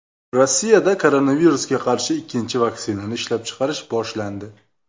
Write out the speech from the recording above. Rossiyada koronavirusga qarshi ikkinchi vaksinani ishlab chiqarish boshlandi.